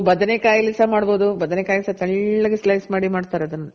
ಬದನೆಕಾಯಿ ಅಲ್ಲಿ ಸಹ ಮಾಡ್ಬೋದು. ಬದನೆಕಾಯಿ ತೆಳ್ಳಗ್ slice ಮಾಡಿ ಮಾಡ್ತಾರೆ ಅದನ್ನ.